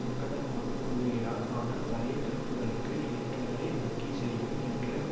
அங்கதாமாகக் கூறுகிறார் ஆனால் பழைய துருப்புகளுக்கு இயன்றதை வங்கி செய்யும் என்ற